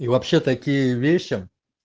и вообще такие вещи